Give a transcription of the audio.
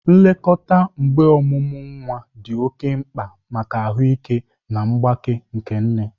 Nlekọta mgbe ọmụmụ nwa dị oke mkpa maka ahụike na mgbake nke nne.